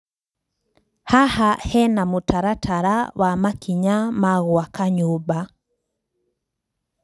Haha hena mũtaratara wa makinya ma gũaka nyũmba.